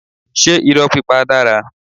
Ṣé irọ́ pípa dára?